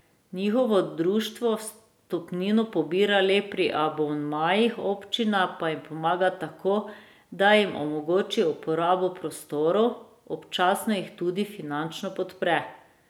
Njihovo društvo vstopnino pobira le pri abonmajih, občina pa jim pomaga tako, da jim omogoči uporabo prostorov, občasno jih tudi finančno podpre.